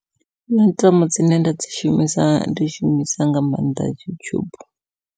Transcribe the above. Puḽatifomo dzine nda dzi shumisa ndi shumisa nga maanḓa yutshubu.